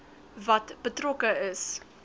wat betrokke is